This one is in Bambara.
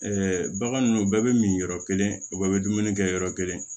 bagan ninnu bɛɛ bɛ min yɔrɔ kelen u bɛɛ bɛ dumuni kɛ yɔrɔ kelen